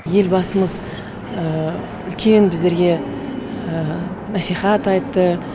елбасымыз үлкен біздерге насихат айтты